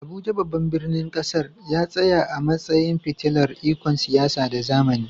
Abuja, babban birnin ƙasar, ya tsaya a matsayin fitilar ikon siyasa da zamani.